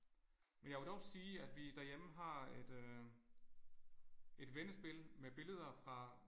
Men jeg vil dog sige at vi derhjemme har et øh et vendespil med billeder fra